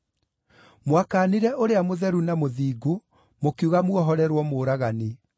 Mwakaanire Ũrĩa Mũtheru na Mũthingu mũkiuga muohorerwo mũũragani.